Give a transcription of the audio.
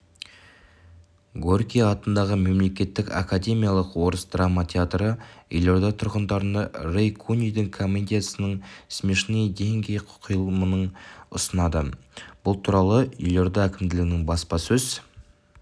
горький атындағы мемлекеттік академиялық орыс драма театры елорда тұрғындарына рэй кунидің комедиясының смешные деньги қойылымын ұсынады бұл туралы елорда әкімдігінің баспасөз